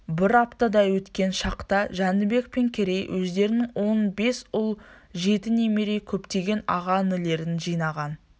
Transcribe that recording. бір аптадай өткен шақта жәнібек пен керей өздерінің он бес ұл жеті немере көптеген аға-інілерін жинаған